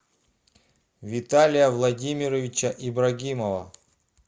виталия владимировича ибрагимова